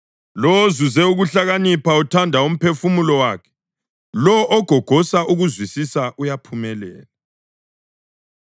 Lowo ozuze ukuhlakanipha uthanda umphefumulo wakhe; lowo ogogosa ukuzwisisa uyaphumelela.